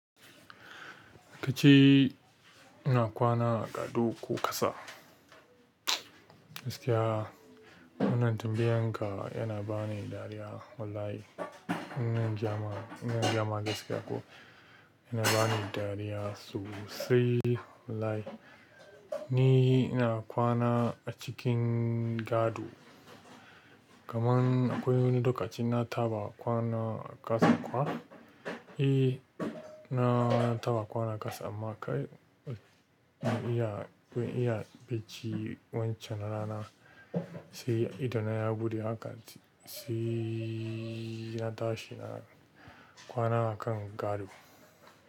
Kace ina kwana a gado ko ƙasa. Gaskiya wannan tambayan ka yana bani dariya wallahi in zan gayama gaskiya ko yana bani dariya sosai wallahi ni ina kwana a cikin gado kaman akwai wani lokaci na taɓa kwana ƙasa kuwa. Eh na taɓa kwana ƙasa amma kai iya, iya bacci wancan rana sai ido na ya buɗe haka sai na tashi na kwana a kan gado.